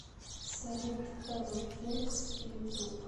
салют эвокингс ютуб